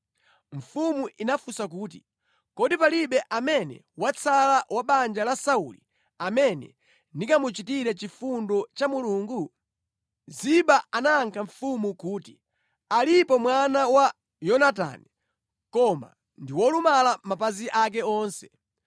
Mfumu inafunsa kuti, “Kodi palibe amene watsala wa banja la Sauli amene ndingamuchitire chifundo cha Mulungu?” Ziba anayankha mfumu kuti, “Alipo mwana wa Yonatani, koma ndi wolumala mapazi ake onse.”